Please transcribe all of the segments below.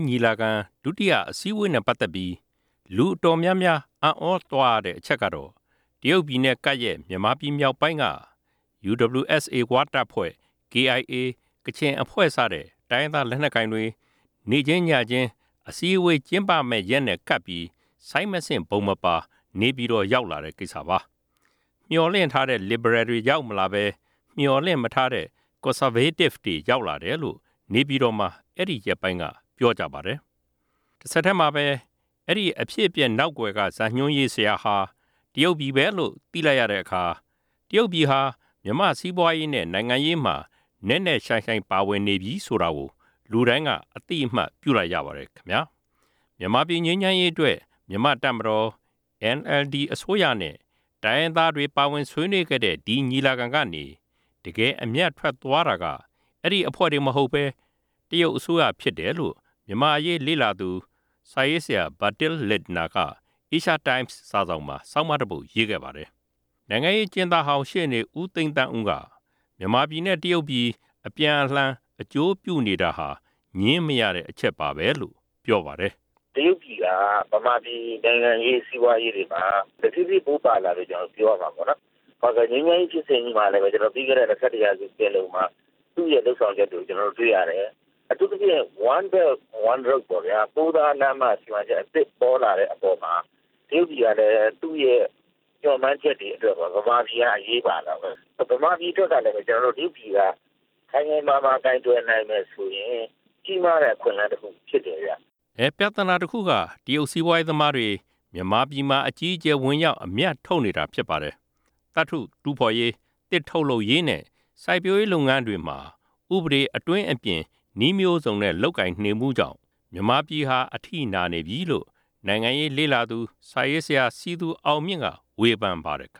းညီလာခံ ဒုတိယအစည်းအဝေးနဲ့ ပတ်သက်ပြီး လူအတော်များများ အံ့သြသွားရတဲ့ အချက် ကတော့ တရုတ်ပြည်နဲ့ကပ်ရက် မြန်မာပြည်မြောက်ပိုင်းက UWSA ဝတပ်ဖွဲ့ KIA ကချင်အဖွဲ့စတဲ့ တိုင်းရင်းသား လက်နက်ကိုင်တွေ နေ့ချင်းညချင်း အစည်းအဝေးကျင်းပမယ့်ရက်နဲ့ကပ်ပြီး ဆိုင်းမဆင့် ဗုံမပါ နေပြည်တော်ရောက် လာတဲ့ ကိစ္စပါ။ မျှော်လင့်ထားတဲ့ လစ်ဘရယ်တွေ ရောက်မလာပဲ မျှော်လင့်မထားတဲ့ ကွန်ဆာဗေး တစ်တွေ ရောက်လာတယ်လို့ နေပြည်တော်မှာ အဲဒီရက်ပိုင်းက ပြောကြပါတယ်။ တဆက်တည်းမှာပဲ အဲဒီအဖြစ်အပျက် နောက်ကွယ်က ဇတ်ညွှန်းဆရာဟာ တရုတ်ပြည်ပဲလို့သိလာရတဲ့အခါ တရုတ်ပြည်ဟာ မြန်မာ့စီးပွားရေးနဲ့ နိုင်ငံရေးမှာ နက်နက်ရှိင်းရှိင်းပါဝင်နေပြီ ဆိုတာကို လူတိုင်းက အသိအမှတ်ပြု လိုက်ရပါတယ်။ မြန်မာပြည် ငြိမ်းချမ်းရေးအတွက် မြန်မာ့တပ်မတော်၊ NLD အစိုးရနဲ့ တိုင်းရင်းသားတွေပါ ဝင်ဆွေးနွေးခဲ့တဲ့ ဒီ ညီလာခံကနေ တကယ်အမြတ်ထွက်သွားတာက အဲဒီ အဖွဲ့တွေ မဟုတ်ပဲ တရုတ်အစိုးရဖြစ် တယ်လို့ မြန်မာ့အရေးလေ့လာသူ Bertil Lintner က Asia Times စာစောင်မှာ ဆောင်းပါးတပုဒ်ရေးခဲ့ပါတယ်။ နိုင် ငံရေးအကျဉ်းသားဟောင်း ရှေ့နေ ဦးသိန်းသန်းဦး က မြန်မာပြည်နဲ့ တရုတ်ပြည် အပြန်အလှန် အကျိုးပြုနေတာ ဟာ ငြင်းမရတဲ့အချက်ပါပဲလို့ ပြောပါတယ်။ " တရုတ်ပြည်ဟာ ဗမာပြည်နိုင်ငံရေး၊ စီးပွားရေးတွေမှာ တဖြည်းဖြည်းပိုပါလာတယ်လို့ ကျနော်တို့ပြောရ မှာပေါ့နော်၊ ငြိမ်းချမ်းရေးဖြစ်စဉ်မှာလဲ ပြီးခဲ့တဲ့ ၂၁ ရာစုပင်လုံမှာ သူ့ရဲ့လုပ်ဆောင်ချက်ကို ကျနော်တို့တွေ့ ရတယ်၊ အထူးသဖြင့် One Belt One Road ပေါ့ဗျာ၊ ပိုးသားလမ်းမ စီမံချက်အသစ်ပေါ်လာတဲ့အပေါ်မှာ တ ရုတ်ပြည်ကလဲသူ့ရဲ့မျှော်မှန်းချက်တွေအတွက်ပေါ့၊ ဗမာပြည်က အရေးပါတာပေါ၊ ဗမာပြည်အတွက်ကလဲ တရုတ်ပြည်က ခိုင်ခိုင်မာမာ ကိုင်တွယ်နိုင်မယ်ဆိုရင် ကြီးမားတဲ့အခွင့်အလမ်း တစ်ခုဖြစ်တယ်ဗျ" အဲ- ပြသနာတခုက တရုတ်စီးပွားရေးသမားတွေ မြန်မာပြည်မှာ အကြီးအကျယ် ဝင်ရောက်အမြတ်ထုတ်နေ တာ ဖြစ်ပါတယ်။ သတ္ထုတူးဖေါ်ရေး၊ သစ်ထုတ်လုပ်ရေးနဲ့ စိုက်ပျိုးရေးလုပ်ငန်းတွေမှာ ဥပဒေအတွင်း အပြင် နည်း မျိုးစုံနဲ့ လုပ်ကိုင်နေမှုကြောင့် မြန်မာပြည်ဟာ အထိနာနေပြီလို့ နိုင်ငံရေးလေ့လာသူ စာရေးဆရာ စည်သူအောင်မြင့် က ဝေဖန်ပါတယ်။ " တ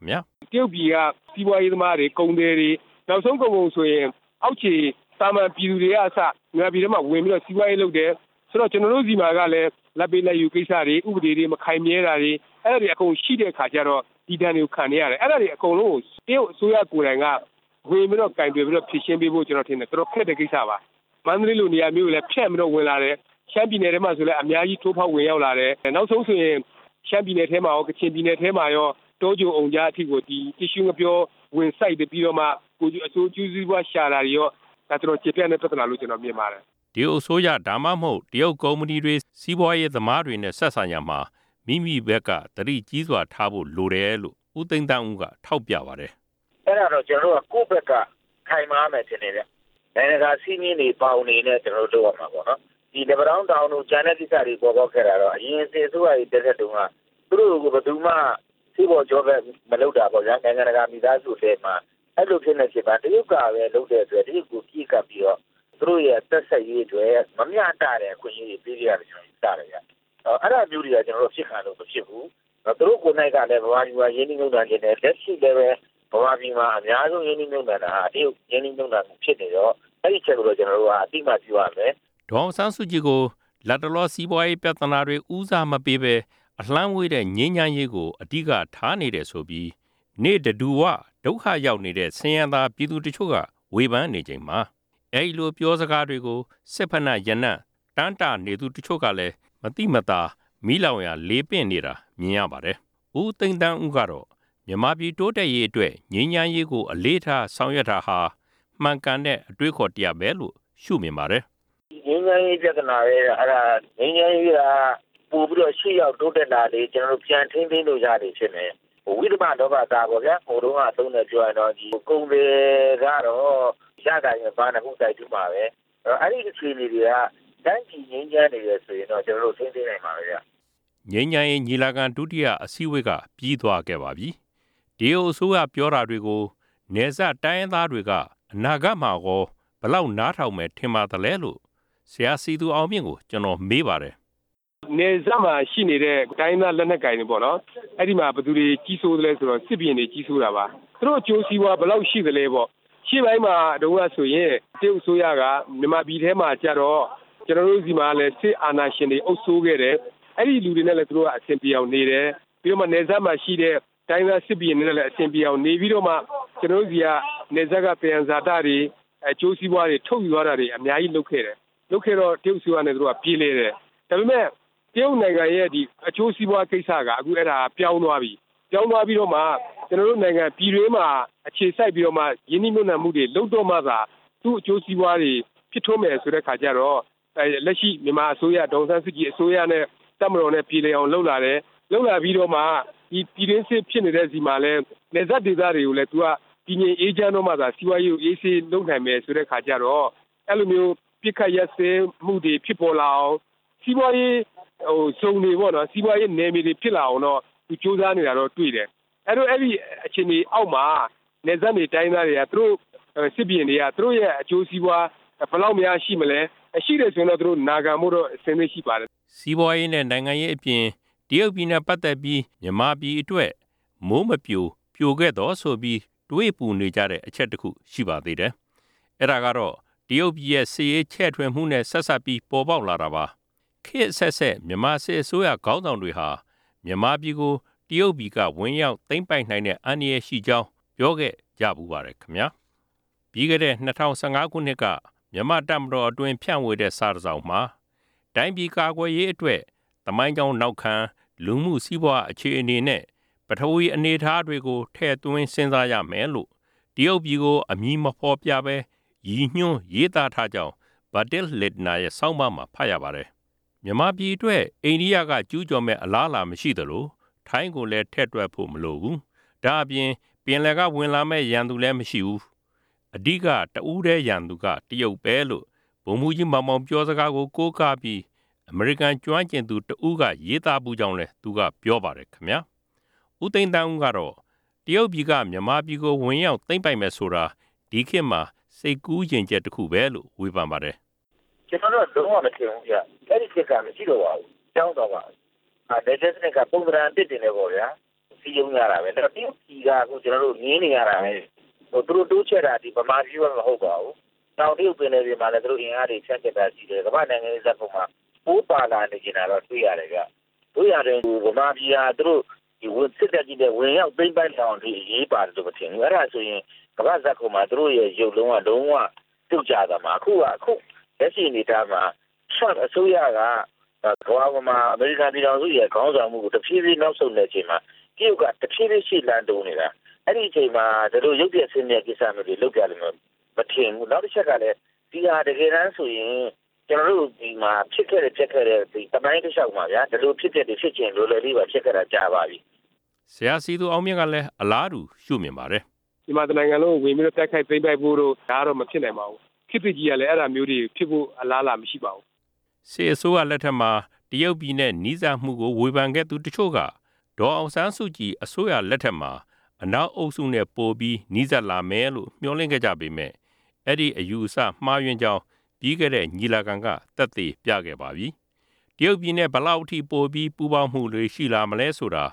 ရုတ်ပြည်က စီးပွားရေးသမားတွေ ကုန်သည်တွေ နောက်ဆုံးကုန်ကုန်ဆိုရင် အောက်ခြေသာမာန်ပြည် သူတွေကအစ မြန်မာပြည်ထဲဝင်ပြီး စီးပွားရေးလုပ်တယ်၊ ဆိုတော့ ကျနော်တို့ဆီမှာကလဲ လာဘ်ပေးလာဘ် ယူကိစ္စတွေ ဥပဒေတွေမခိုင်မြဲတာတွေ အဲဒါတွေအကုန်ရှိတဲ့အခါကျတော့ ဒီဒဏ်တွေကိုခံနေရတယ်၊ အဲဒါတွေအကုန်လုံးကို တရုတ်အစိုးရကိုယ်တိုင်က ဝင်ပြီးတော့ကိုင်တွယ်ပြီးတော့ဖြေရှင်းပေးဖို့ ကျနော် ထင်တယ် တော်တော်ခက်တဲ့ ကိစ္စပါ၊ မန္တလေးလိုနေရာမျိုးကို ဖြန့်ပြီးဝင်လာတယ်၊ ရှမ်းပြည်နယ်ထဲကိုလဲအ များကြီးထိုးဖောက်ဝင်လာတယ်၊ နောက်ဆုံးဆိုရင် ရှမ်းပြည်နယ်ထဲမှာရော ကချင်ပြည်နယ်ထဲ မှာရော တောခြုံအုံကြားအထိကို တစ်ရှူးငှက်ပျောဝင်စိုက်ပြီးမှ အကျိုးစီးပွားရှာတာတွေရော ၊ ဒါတော်တော် ကျယ်ပြန့်တဲ့ ပြသနာလို့ ကျနော်မြင်ပါတယ်" တရုတ်အစိုးရ ဒါမှမဟုတ် တရုတ်ကုမ္ပဏီတွေ၊ စီးပါွးရေးသမားတွေနဲ့ ဆက်ဆံရာမှာ မိမိဖက်က သတိကြီးစွာထားဖို့ လိုတယ်လို့ ဦးသိန်းသန်းဦးက ထောက်ပြပါတယ်။ " အဲဒါတော့ ကျနော်တို့က ကိုယ့်ဘက်က ခိုင်မာရမယ်ထင်တယ်ဗျ၊ နိုင်ငံတကာစည်းမျဉ်းတွေ ဘောင်တွေနဲ့ ကျနော်တို့လုပ်ရမှာပေါ့နော်၊ လက်ပံတောင်းတောင်တို့ ကျန်တဲ့ကိစ္စတွေပေါ်ပေါက်ခဲ့တာတော့ အရင်စစ် အစိုးရလက်ထက်တုန်းက သူတို့ကိုဘယ်သူမှ ဆေးဖော်ကြောဘက်မလုပ်တာပေါ့ဗျာ၊ နိုင်ငံတကာမိသားစု အလယ်မှာ အဲလိုဖြစ်နေတဲ့အချိန်မှာ တရုတ်ကဘဲလုပ်တဲ့အတွက် တရုတ်ကိုပြေးကပ်ပြီးတော့ သူတို့ရဲ့အ သက်ဆက်ရေးအတွက် မမျှတတဲ့အခွင့်အရေးတွေပေးခဲ့ရတယ်လို့ယူဆတယ်ဗျ၊ အဲဒါမျိုးတွေ ကျနော်တို့ အဖြစ်ခံလို့မဖြစ်ဘူး၊ သူတို့ကိုယ်တိုင်ကလဲ ဗမာပြည်မှာ ရင်းနှီးမြုပ်နှံချင်တယ်၊ လက်ရှိလဲဘဲ ဗမာပြည် မှာအများဆုံး ရင်းနှီးမြုပ်နှံတာဟာ တရုတ်ရင်းနှီးမြုပ်နှံမှုဖြစ်နေတော့ အဲဒီအချက်ကို ကျနော်တို့က အသိ အမှတ်ပြုရမယ်" ဒေါ်အောင်ဆန်းစုကြည်ကို လတ်တလောစီးပွားရေးပြသနာတွေ ဦးစားမပေးပဲ အလှမ်းဝေးတဲ့ ငြိမ်းချမ်းရေးကို အဓိကထားနေတယ်ဆိုပြီး နေ့တဓူဝ ဒုက္ခရောက်နေတဲ့ ဆင်းရဲသားပြည်သူတချို့က ဝေဖန်နေချိန်မှာ အဲဒီလိုပြောစ ကားတွေကို စစ်ဖိနပ်ရနံ့ တမ်းတနေသူတချို့ကလည်း မသိမသာ မီးလောင်ရာလေပင့် နေတာမြင်ရပါတယ်။ ဦးသိန်းသန်းဦး ကတော့ မြန်မာပြည်တိုးတက်ရေးအတွက် ငြိမ်းချမ်းရေးကို အလေးထား ဆောင်ရွက်တာဟာ မှန်ကန်တဲ့အတွေးအခေါ်တရပ်ပဲလို့ ရှုမြင်ပါတယ်။ "ငြိမ်းချမ်းရေးက ပိုပြီးတော့ရှေ့ရောက်တိုးတက်လာလေ ကျနော်တို့ပြန်ထိန်းသိမ်းလို့ရလေဖြစ်မယ်၊ ဝိသ မလောဘသားပေါ့ဗျာ ဟိုတုန်းကအသုံးနဲ့ပြောရင် ဒီကုန်သည်ကတော့ ရတာနဲ့ဘနဖူး သိုက်တူးမှာဘဲ၊ အဲဒီ အခြေအနေတွေက တိုင်းပြည်ငြိမ်းချန်းနေတယ်ဆိုရင် ကျနော်တို့ ထိန်းသိမ်းရမှာဘဲဗျ" ငြိမ်းချမ်းရေးညီလာခံ ဒုတိယ အစည်းအဝေးက ပြီးသွားခဲ့ပါပြီ။ တရုတ်အစိုးရပြောတာတွေကို နယ်စပ်တိုင်းရင်း သားတွေက အနာဂတ်မှာကော ဘယ်လောက်နားထောင်မယ် ထင်ပါသလဲလို့ ဆရာ စည်သူအောင်မြင့်ကို ကျနော်မေးပါတယ်။ "နယ်စပ်မှာရှိနေတဲ့ တိုင်းရင်းသားလက်နက်ကိုင်ပေါ့နော်၊ အဲဒီမှာဘယ်သူတွေကြီးစိုးသလဲဆိုရင်တော့ စစ် ဘုရင်တွေကြီးစိုးတာပါ၊ သူတို့အကျိုးစီးပွားဘယ်လောက်ရှိသလဲပေါ့၊ ရှေ့ပိုင်းမှာတုန်းကဆိုရင် တရုတ်အစိုး ရက မြန်မာပြည်ထဲမှာကျတော့ ကျနော်တို့ဆီမှာကလဲ စစ်အာဏာရှင်တွေအုပ်စိုးခဲ့တယ်၊ အဲဒီလူတွေနဲ့လဲ သူတို့ကအဆင်ပြေအောင်နေတယ်၊ ပြီးတော့နယ်စပ်မှာရှိတဲ့ တိုင်းရင်းသားစစ်ဘုရင်တွေနဲ့အ ဆင်ပြေအောင်နေပြီးတော့မှ ကျနော်တို့ဆီက နယ်စပ်က သံယံဇာတတွေ၊ အကျိုးစီးပွားတွေ ထုတ်ယူခဲ့ တာတွေအများကြီးလုပ်ခဲ့တယ်၊ လုပ်ခဲ့တော့ တရုတ်အစိုးရနဲ့သူတို့ကပြေလည်တယ်၊ ဒါပေမဲ့တရုတ်နိုင်ငံ ရဲ့အကျိုးစီးပွားကိစ္စက အခုအဲဒါ ပြောင်းသွားပြီ၊ ပြောင်းသွားပြီးမှ ကျနော်တို့နိုင်ငံ ပြည်တွင်းမှာ အခြေ စိုက်ပြီးတော့မှ ရင်းနှီးမြုပ်နှံမှုတွေလုပ်တော့မှသာ သူ့အကျိုးစီးပွားတွေဖြစ်ထွန်းတော့မယ်ဆိုတဲ့အခါ ကျတော့မှ လက်ရှိမြန်မာအစိုးရ ဒေါ်အောင်ဆန်းစုကြည်အစိုးရနဲ့ တပ်မတော်နဲ့ပြေလည်အောင်လုပ်လာ တယ်၊ လုပ်လာပြီးတော့မှ ဒီပြည်တွင်းစစ်ဖြစ်နေတဲ့ဆီမှာလည်း တည်ငြိမ်းအေးချမ်းတော့မှသာ စီးပွားရေး လုပ်ငန်းကိုအေးဆေးလုပ်နိုင်မယ်ဆိုတဲ့အခါကျတော့ အဲလိုမျိုးအပစ်ခတ်ရပ်စဲရေးတွေဖြစ်လာအောင် စီး ပွားရေးဇုန်တွေ စီးပွားရေးနယ်မြေတွေဖြစ်လာအောင် သူကြိုးစားနေတာတော့တွေ့တယ်၊ အဲတော့ အဲ့အခြေနေအောက်မှာ နယ်စပ်နေတိုင်းရင်းသားတွေ စစ်ဘုရင်တွေက သူတို့ရဲ့အကျိုးစီးပွား ဘယ်လောက်ရှိမလဲ၊ ရှိတယ်ဆိုရင်တော့သူတို့နာခံဖို့အဆင်သင့်ရှိပါတယ်" စီးပွားရေးနဲ့ နိုင်ငံရေးအပြင် တရုတ်ပြည်နဲ့ ပတ်သက်ပြီး မြန်မာပြည်အတွက် မိုးမပြို၊ ပြိုခဲ့သော်ဆိုပြီး တွေးပူနေကြ တဲ့ အချက်တခု ရှိပါသေးတယ်။ အဲဒါကတော့ တရုတ်ပြည်ရဲ့ စစ်ရေးချဲ့ထွင်မှုနဲ့ ဆက်စပ်ပြီး ပေါ်ပေါက်လာတာ ပါ။ ခေတ်အဆက်ဆက် မြန်မာစစ်အစိုးရခေါင်းဆောင်တွေဟာ မြန်မာပြည်ကို တရုတ်ပြည်က ဝင်ရောက်သိမ်း ပိုက်နိုင်တဲ့ အန္တရာယ်ရှိကြောင်း ပြောခဲ့ကြဖူးပါတယ်။ ပြီးခဲ့တဲ့ ၂ဝ၁၅ ခုနှစ်က မြန်မာ့တပ်မတော်အတွင်း ဖြန့်ဝေတဲ့စာတစောင်မှာ တိုင်းပြည်ကာကွယ်ရေးအတွက် သမိုင်းကြောင်းနောက်ခံ၊ လူမှုစီးပွားအခြေအနေနဲ့ ပထဝီအနေအထားတွေကို ထည့်သွင်းစဉ်းစားရမယ်လို့ တရုတ်ပြည်ကို အမည်မဖေါ်ပြပဲ ရည်ညွန်းရေးသားထားကြောင်း Bertil Lintner ရဲ့ဆောင်းပါးမှာ ဖတ်ရပါတယ်။ မြန်မာပြည်အတွက် အိန္ဒိယက ကျူးကျော်မယ့် အလားအလာ မရှိသလို ထိုင်းကိုလည်း ထည့်တွက်ဖို့မလိုဖူး၊ ဒါ့အပြင် ပင်လယ်က ဝင်လာမယ့် ရန်သူလည်းမရှိဖူး၊ အဓိက တဦးတည်း ရန်သူက တရုတ်ပဲလို့ ဗိုလ်မှူးကြီးမောင်မောင် ပြောစကားကို ကိုးကားပြီး အမေရိကန်ကျွမ်းကျင်သူ တစ်ဦးက ရေးသားဖူးကြောင်းလည်း သူကပြောပါတယ်။ ဦးသိန်းသန်းဦးကတော့ တရုတ်ပြည်က မြန်မာပြည်ကို ဝင်ရောက်သိမ်းပိုက်မယ်ဆိုတာ ဒီခေတ်မှာ စိတ်ကူးယဉ် ချက် တခုပဲလု့ိ ဝေဖန်ပါတယ်။ "ကျနော်တော့ လုံးဝမထင်ဘူးဗျ၊ အဲဒီခေတ်က မရှိတော့ပါဘူး ပြောင်းသွားပါပြီ၊ နယ်ချဲ့စနစ်က ပုံစံအ သစ်တွေနဲ့ပေါ့ဗျာ၊ စည်းရုံးရတာဘဲ တရုတ်ပြည်ကအခုကျနော်တို့ မြင်နေရတာဘဲ၊ သူတို့တိုးချဲ့တာ ဗမာပြည်မှ မဟုတ်ပါဘူး၊ တောင်တရုတ်ပင်လယ်မှာ သူတို့အင်အားတွေဖြန့်ကျက်တာရှိတယ်၊ ကမ္ဘာ့ပို ပါလာချင်နေတာတော့တွေ့ရတယ်ဗျ၊ သို့ရာတွင် ဗမာပြည်က သူတို့စစ်တပ်နဲ့ဝင်ရောက်သိမ်း ပိုက်လောက်အောင်အရေးပါတယ်မထင်ဘူး၊ အဲဒါဆိုရင် ကမ္ဘာ့ဇတ်ခုံမှာ သူတို့ရဲ့ရုပ်လုံးက လုံးဝပြုတ် ကျသွားမယ်၊ အခုလက်ရှိအနေအထားမှာ ထရမ့်အစိုးရက ကမ္ဘာပေါ်မှာ အမေရိကုန်ပြည်ထောင်စု ရဲ့ခေါင်းဆောင်မှုကို တဖြည်းဖြည်း နောက်ဆုတ်ေ်နတဲ့အချိန်မှာ တရုတ်က တဖြည်းဖြည်းရှေ့လှမ်းတိုးနေ တာ၊ အဲလိုအချိန်မှာ ဒီလိုရုပ်ပျက်ဆင်းပျက်ကိစ္စမျိုးလုပ်မယ်မထင်ဘူး၊ နောက်တစ်ချက်ကလဲ ဒီဟာတကယ် တမ်းဆိုရင် ကျနော်တို့ဆီမှာ ဖြစ်ခဲ့ပျက်ခဲ့တဲ့ သမိုင်းတလျှောက်မှာ ဒီလိုအဖြစ်အပျက်တွေဖြစ်ချင်တယ်ဆို လွယ်လွယ်လေးပါ၊ ဖြစ်ခဲ့တာကြာပါပြီ" ဆရာ စည်သူအောင်မြင့်ကလည်း အလားတူ ရှုမြင်ပါတယ်။ "မြန်မာတစ်နိုင်ငံလုံးကို ဝင်ပြီးတိုက်ခိုက်သိမ်းပိုက်ဖို့တို့ ဒါတော့မဖြစ်နိုင်ပါဘူး၊ ခေတ်သစ်ကြီးက ဒါမျိုးဖြစ်ဖို့အလားအလာမရှိပါဘူး" စစ်အစိုးရလက်ထက်မှာ တရုတ်ပြည်နဲ့ နီးစပ်မှုကို ဝေဖန်ခဲ့သူတချို့က ဒေါ်အောင်ဆန်းစုကြည် အစိုးရလက်ထက် မှာ အနောက်အုပ်စုနဲ့ ပိုပြီးနီးစပ်လာမယ်လို့ မျှော်လင့်ခဲ့ကြပေမယ့် အဲဒီ အယူအဆ မှားယွင်းကြောင်း ပြီးခဲ့တဲ့ ညီ လာခံက သက်သေပြခဲ့ပါပြီ။ တရုတ်ပြည်နဲ့ ဘယ်လောက်အထိ ပိုပြီး ပူးပေါင်းမှုတွေ ရှိလာမလဲဆိုတာ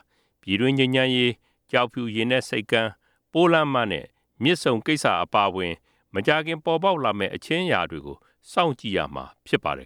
ပြည်တွင်း ငြိမ်းချမ်းရေး၊ ကျောက်ဖြူရေနက်ဆိပ်ကမ်း၊ ပိုးလမ်းမနဲ့ မြစ်ဆုံကိစ္စအပါအဝင် မကြာခင်ပေါ်ပေါက်လာမယ့် အချင်း အရာတွေကို စောင့်ကြည့်ရမှာ ဖြစ်ပါတယ်